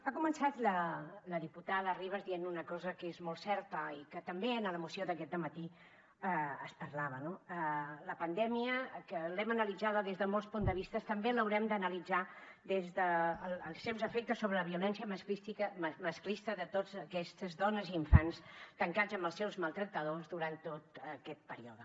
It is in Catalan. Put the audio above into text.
ha començat la diputada ribas dient una cosa que és molt certa i que també en la moció d’aquest dematí es parlava no la pandèmia que l’hem analitzada des de molts punts de vista també l’haurem d’analitzar des dels seus efectes sobre la violència masclista de totes aquestes dones i infants tancats amb els seus maltractadors durant tot aquest període